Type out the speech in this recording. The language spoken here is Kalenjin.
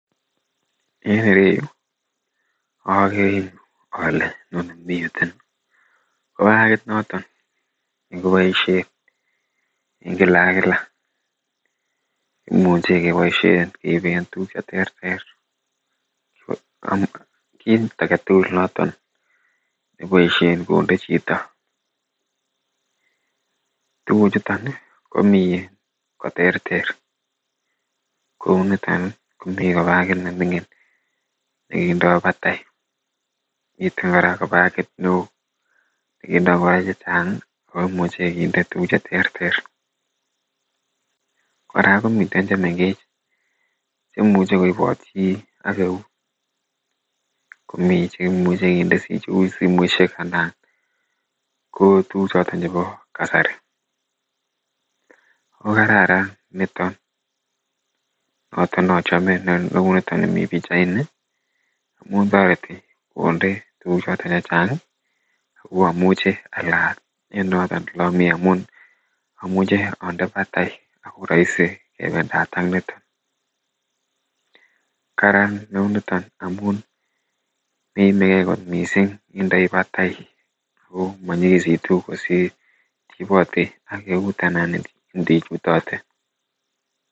en ireyuu ogere ole miten ko bagit noton negoboisyeen en kila ak kila kimuche keboisyeen keibeen tuguk cheterter kiit agetugul noton neboisheen konde chito, tuguk chuton komii koterter kouu niton iih komii ko bagit nemingin negindoo batai, miten koraa kobagit neoo negindoo ngoroik chechang ooh imuche koraa kinde tuguk cheterter, koraa komiten chemengech chemuche koiboot chii ak eeut komii chemuche kinde cheuu simoishek anan koo tuguk choton chebo kasari kogararan niton noton nochome kouu niton nemii pichait niih amuun toreti konde tuguk choton chechang iih ago omuche alaat en noton olomii omunun omuche onde batai ago roisi kebendaat ak niton, karaan neuu jiton omun meimegee kot mising indoii batai ago monyigisitu kosiir iibote ak eeut anan inde ichutote.